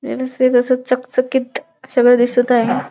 व्यवस्थित असं चकचकीत सगळं दिसत आहे.